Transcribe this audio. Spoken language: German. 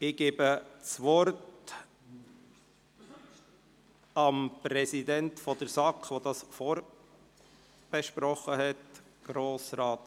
Ich gebe dem Präsidenten der SAK das Wort, der dieses Geschäft vorbesprochen hat.